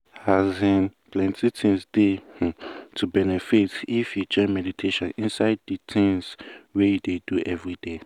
plenty um things dey um to benefit if you join meditation inside de tins wey you dey do everyday.